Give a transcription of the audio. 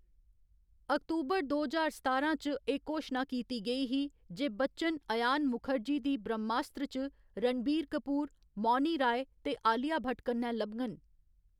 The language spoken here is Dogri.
अक्तूबर दो ज्हार सतारां च, एह् घोशना कीती गेई ही जे बच्चन अयान मुखर्जी दी ब्रह्मास्त्र च रणबीर कपूर, मौनी राय ते आलिया भट्ट कन्नै लभङन।